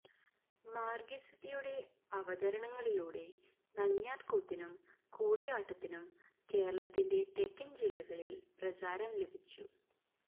മാര്ഗിസതിയുടെ അവതരണങ്ങളിലൂടെ നങ്ങ്യാര്കൂത്തിനും കൂടിയാട്ടത്തിനും കേരളത്തിന്റെ തെക്കന് ജില്ലകളില് പ്രചാരം ലഭിച്ചു